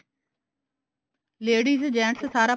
ladies gents ਸਾਰਾ